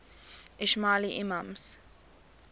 ismaili imams